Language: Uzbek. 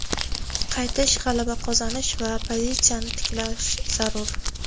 Qaytish, g‘alaba qozonish va pozitsiyani tiklash zarur.